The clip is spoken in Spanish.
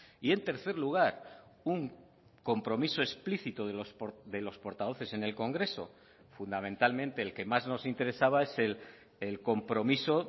y en tercer lugar un compromiso explícito de los portavoces en el congreso fundamentalmente el que más nos interesaba es el compromiso